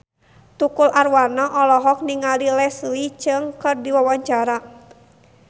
Tukul Arwana olohok ningali Leslie Cheung keur diwawancara